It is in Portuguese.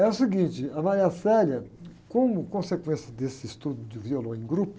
É o seguinte, a, como consequência desse estudo de violão em grupo,